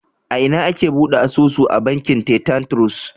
A ina ake bude asusu a bankin Titan Trust?